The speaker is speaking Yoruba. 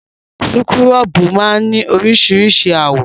Súkúrọ́bù máa ní oríṣiríṣi àwọ̀.